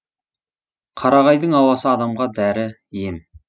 қарағайдың ауасы адамға дәрі ем